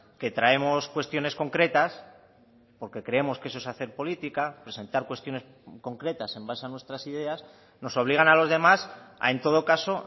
que traemos cuestiones concretas porque creemos que eso es hacer política presentar cuestiones concretas en base a nuestras ideas nos obligan a los demás a en todo caso